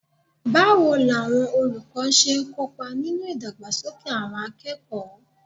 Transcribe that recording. Báwo làwọn olùkọ́ ṣe ń kópa nínú ìdàgbàsókè àwọn akẹ́kọ̀ọ́?